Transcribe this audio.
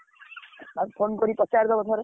ତାକୁ phone କରି ପଚାରିଦବ ଥରେ।